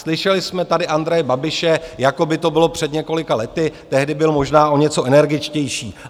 Slyšeli jsme tady Andreje Babiše, jako by to bylo před několika lety, tehdy byl možná o něco energičtější.